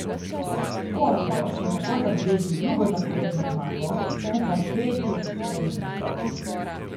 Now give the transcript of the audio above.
Portorož je tako zabeležil drugo zaporedno zmago, skupaj tretjo v sedmih nastopih.